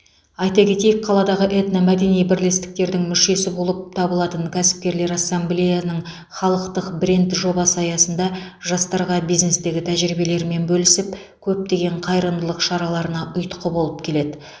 айта кетейік қаладағы этномәдени бірлестіктердің мүшесі болып табылатын кәсіпкерлер ассамблеяның халықтық бренд жобасы аясында жастарға бизнестегі тәжірибелерімен бөлісіп көптеген қайырымдылық шараларына ұйытқы болып келеді